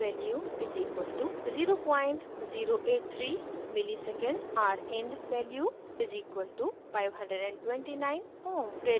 l/r value = 0083msec milli second